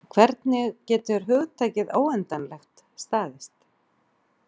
Hvernig getur hugtakið „óendanlegt“ staðist?